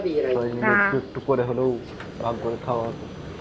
সবাই মিলে একটু একটু করে হলেও ভাগ করে খাওয়া হতো.